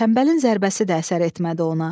Tənbəlin zərbəsi də əsər etmədi ona.